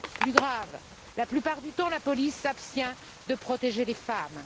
Plus grave, la plupart du temps, la police s'abstient de protéger les femmes.